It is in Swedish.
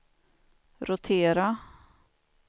rotera